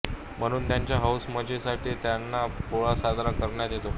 म्हणून त्यांच्या हौसमजेसाठी तान्हा पोळा साजरा करण्यात येतो